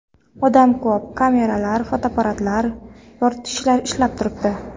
Odam ko‘p, kameralar, fotoapparatlar, yoritgichlar ishlab turibdi.